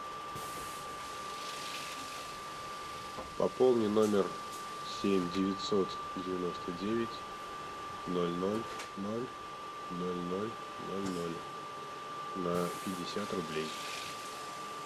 пополни номер семь девятьсот девяносто девять ноль ноль ноль ноль ноль ноль ноль на пятьдесят рублей